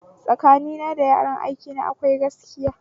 Tsakanina da yaran aikina akwai gaskiya